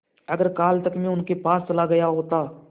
अगर कल तक में उनके पास चला गया होता